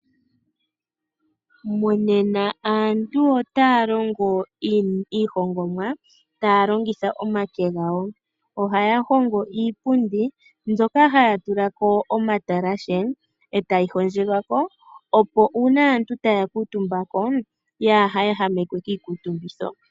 Monena aantu otaa longo iihongomwa, taa longitha omake gawo. Ohaya hongo iipundi, hoka haya tula omatalashe etaga hondjelwa ko, opo uuna aantu taya kuutumba ko, yaa ehamekwe kiikuutumbitho.